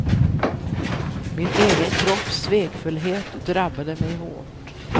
Min egen kropps svekfullhet drabbade mig hårt.